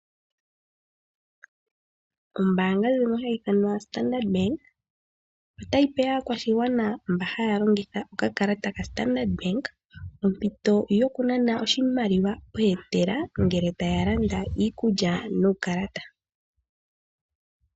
Ombaanga ndjono hayi ithanwa Standard Bank otayi pe aakwashigwana mba haya longitha okakalata kaStandard Bank ompito yokunana oshimaliwa pootela ngele taya nana nuukalata.